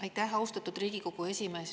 Aitäh, austatud Riigikogu esimees!